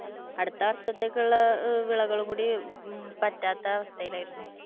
അടുത്ത വർഷത്തേക്കുള്ള വിളകളും കൂടി പറ്റാത്ത അവസ്ഥയിലായിരുന്നു.